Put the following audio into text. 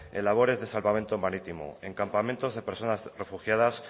en labores de salvamento marítimo en campamentos de personas refugiadas